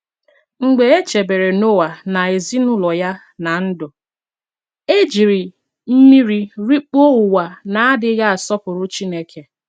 Mgbe e chebere Noa na ezinụlọ ya ná ndụ, e ji mmiri rikpuo ụwa na-adịghị asọpụrụ Chineke.